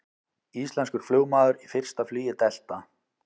Íslenskur flugmaður í fyrsta flugi Delta